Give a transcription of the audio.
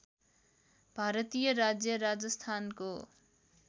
भारतीय राज्य राजस्थानको